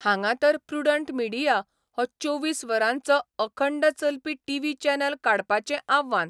हांगां तर 'Prudent Media 'हो चोवीस वरांचो अखंड चलपी टीव्ही चॅनल काडपाचें आव्हान.